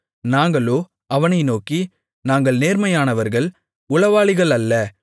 நாங்களோ அவனை நோக்கி நாங்கள் நேர்மையானவர்கள் உளவாளிகள் அல்ல